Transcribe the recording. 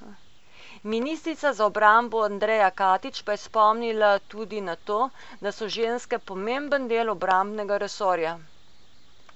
Ministrica za obrambo Andreja Katič pa je spomnila tudi na to, da so ženske pomemben del obrambnega resorja.